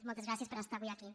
moltes gràcies per estar avui aquí